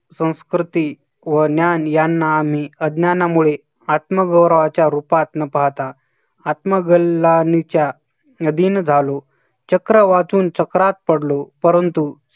संस्कृती व ज्ञान यांना आम्ही अज्ञानामुळे आत्मवृहाच्या रूपात न पाहता आत्मकलानीच्या यदिन झालो. चक्र वाचून चक्रात पडलो, परंतु